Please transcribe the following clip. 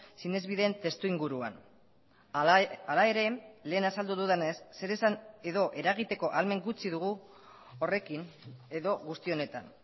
sinesbideen testu inguruan hala ere lehen azaldu dudanez zer esan edo eragiteko ahalmen gutxi dugu horrekin edo guzti honetan